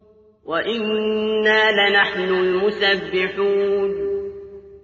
وَإِنَّا لَنَحْنُ الْمُسَبِّحُونَ